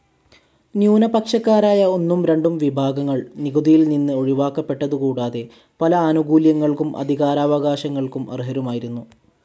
ന്യൂനപക്ഷക്കാരായ ഒന്നും രണ്ടും വിഭാഗങ്ങൾ നികുതിയിൽ നിന്ന് ഒഴിവാക്കപ്പെട്ടതു കൂടാതെ പല ആനുകൂല്യങ്ങൾക്കും അധികാരാവകാശങ്ങൾക്കും അർഹരുമായിരുന്നു.